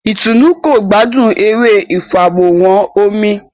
Itunu kò gbádùn eré ifaworanhan omí